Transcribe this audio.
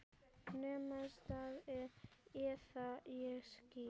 Nemið staðar eða ég skýt!